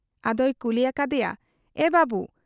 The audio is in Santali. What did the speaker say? ᱟᱫᱚᱭ ᱠᱩᱞᱤ ᱟᱠᱟᱫ ᱮᱭᱟ, ᱮ ᱵᱟᱹᱵᱩ !